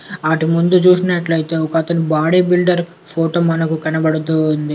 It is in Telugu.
అటు ముందు చూసినట్లు అయితే ఒక అతను బాడీ బిల్డర్ ఫోటో మనకు కనబడుతూ ఉంది.